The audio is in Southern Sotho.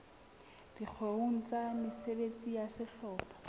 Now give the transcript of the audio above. dikgeong tsa mesebetsi ya sehlopha